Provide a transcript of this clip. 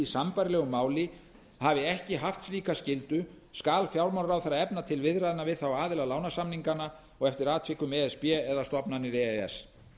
í sambærilegu máli hafi ekki haft slíka skyldu skal fjármálaráðherra efna til viðræðna við aðra aðila lánasamninganna og eftir atvikum e s b eða stofnanir e e s